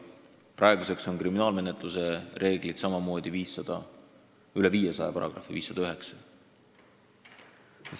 Praeguseks on kriminaalmenetluse seadustikus samamoodi üle 500 paragrahvi: 509.